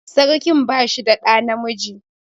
Sarkin ba shi da ɗa namiji